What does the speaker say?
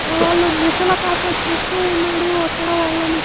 ఆ వళ్ళ ముసలి తాత చూస్తూ ఉన్నాడు అక్కడ వాళ్లని.